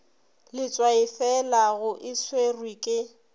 letswaifela go e swerwe ke